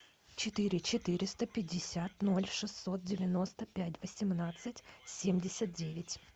четыре четыреста пятьдесят ноль шестьсот девяносто пять восемнадцать семьдесят девять